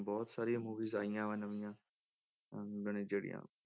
ਬਹੁਤ ਸਾਰੀਆਂ movies ਆਈਆਂ ਵਾਂ ਨਵੀਂਆਂ ਆਹ ਮਨੇ ਜਿਹੜੀਆਂ